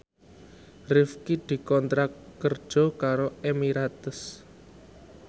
Rifqi dikontrak kerja karo Emirates